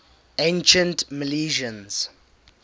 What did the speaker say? ancient milesians